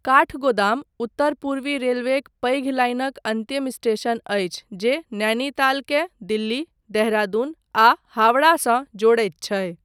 काठगोदाम उत्तर पूर्वी रेलवेक पैघ लाइनक अन्तिम स्टेशन अछि जे, नैनीतालकेँ दिल्ली, देहरादून आ हावड़ा सँ जोड़ैत छै।